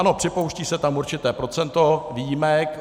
Ano, připouští se tam určité procento výjimek.